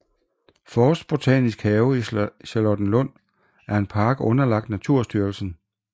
Forstbotanisk Have i Charlottenlund er en park underlagt Naturstyrelsen